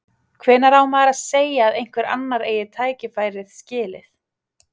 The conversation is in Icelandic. Hvenær á maður að segja að einhver annar eigi tækifærið skilið?